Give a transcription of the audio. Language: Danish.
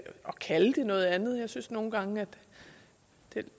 kalde det noget andet for jeg synes nogle gange at det